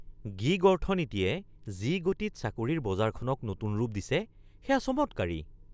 Gig অৰ্থনীতিয়ে যি গতিত চাকৰিৰ বজাৰখনক নতুন ৰূপ দিছে সেয়া চমৎকাৰী।